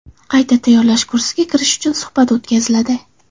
Qayta tayyorlash kursiga kirish uchun suhbat o‘tkaziladi.